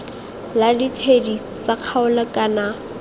la ditshedi tsa kgaolo kana